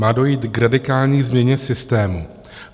Má dojít k radikální změně systému.